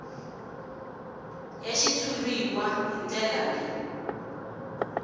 ya xitshuriwa hi ndlela leyi